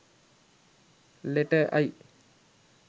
letter i